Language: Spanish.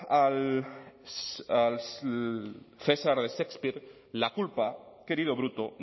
al cesar de shakespeare la culpa querido bruto